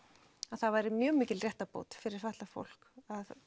það væri mjög mikil réttarbót fyrir fatlað fólk